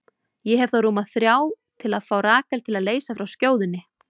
Ég hef þá rúma þrjá til að fá Rakel til að leysa frá skjóðunni.